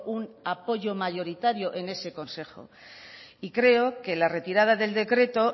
un apoyo mayoritario en ese consejo y creo que la retirada del decreto